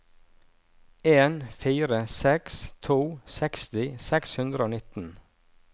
en fire seks to seksti seks hundre og nitten